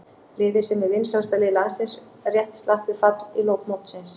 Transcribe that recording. Liðið sem er vinsælasta lið landsins rétt slapp við fall í lok mótsins.